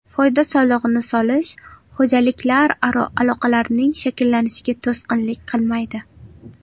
Foyda solig‘ini solish xo‘jaliklararo aloqalarning shakllanishiga to‘sqinlik qilmaydi.